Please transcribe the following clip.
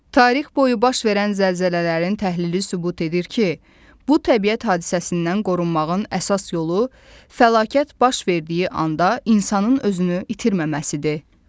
Tarix boyu baş verən zəlzələlərin təhlili sübut edir ki, bu təbiət hadisəsindən qorunmağın əsas yolu fəlakət baş verdiyi anda insanın özünü itirməməsidir.